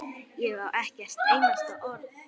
Ég á ekkert einasta orð.